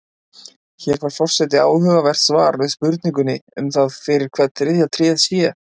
Hér fær forseti áhugavert svar við spurningunni um það fyrir hvern þriðja tréð sé.